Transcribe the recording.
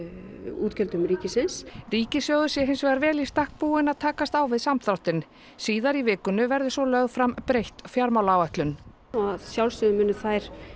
útgjöldum ríkisins ríkissjóður sé hins vegar vel í stakk búinn að takast á við samdráttinn síðar í vikunni verður lögð fram breytt fjármálaáætlun og að sjálfsögðu munu þær